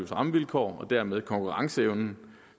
rammevilkår og dermed konkurrenceevnen